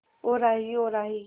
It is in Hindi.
ओ राही ओ राही